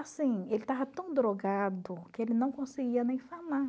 Assim, ele estava tão drogado que ele não conseguia nem falar.